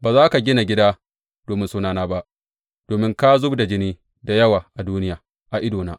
Ba za ka gina gida domin Sunana ba, domin ka zub da jini da yawa a duniya a idona.